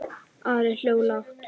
Ari hló lágt.